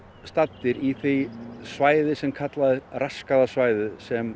staddir í því svæði sem kallað er raskaða svæðið sem